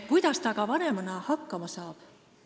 Kuidas ta aga vanemana hakkama saab?